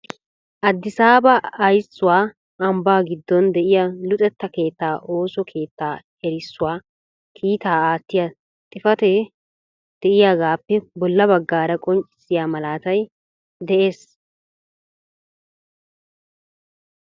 " Addisaaba ayssuwaa ambbaa giddon de'iyaa luxetta keettaa ooso keettaa" erissuwaa kiitaa aattiyaa xifatee de'iyaagappe bolla baggaara a qonccissiyaa malaatay de'ees.